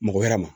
Mɔgɔ wɛrɛ ma